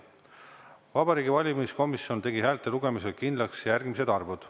Vabariigi Valimiskomisjon tegi häälte lugemisel kindlaks järgmised arvud.